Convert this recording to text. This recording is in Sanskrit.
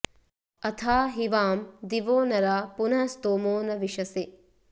अथा॒ हि वां॑ दि॒वो न॑रा॒ पुनः॒ स्तोमो॒ न वि॒शसे॑